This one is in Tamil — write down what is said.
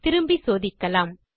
திரும்பி சோதிக்கலாம்